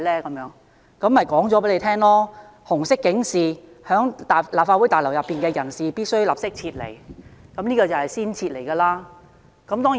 我向他解釋，紅色警示即表示在立法會大樓內的人士必須立即撤離，這就是要先撤離的警示。